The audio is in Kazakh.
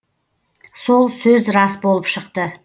сол сөз рас болып шықты